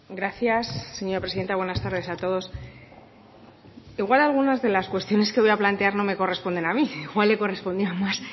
gracias señora presidenta buenas tardes a todos igual alguna de las cuestiones que voy a plantear no me corresponde a mí igual le correspondía más